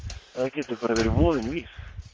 getur bara verið voðinn vís